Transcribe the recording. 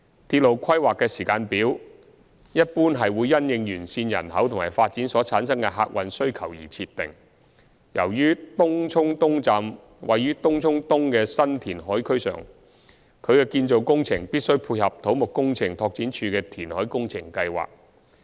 鐵路規劃的時間表一般會因應沿線人口及發展所產生的客運需求而設定，由於東涌東站位於東涌東的新填海區上，其建造工程必須配合土木工程拓展署的填海工程計劃。